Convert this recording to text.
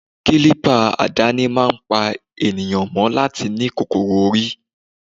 Kilipa àdáni máa ń pa ènìyàn mọ́ láti ní kòkòrò orí.